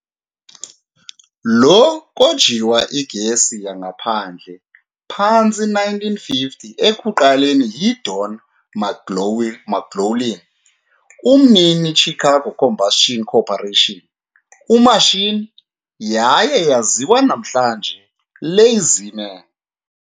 Lo kojiwa igesi yangaphandle phantsi 1950 ekuqaleni yi Don McGlaughlin, umnini "Chicago Combustion Corporation", omashini, yaye yaziwa namhlanje "LazyMan".